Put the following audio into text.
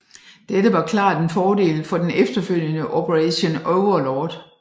Dette var klart en fordel for den efterfølgende Operation Overlord